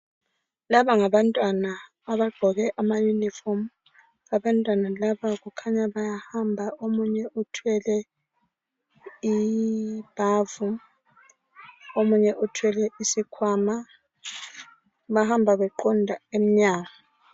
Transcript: Laba ngabantwana abagqoke ama uniform abantwana laba kukhanya bayahamba omunye uthwele ibhavu omunye uthwele isikhwama bahamba beqonda emnyango